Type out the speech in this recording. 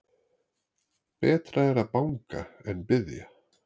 Betra er að banga en biðja.